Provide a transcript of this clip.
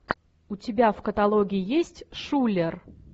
у тебя в каталоге есть шулер